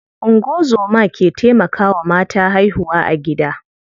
Ungozoma ke taimakawa mata haihuwa a gida.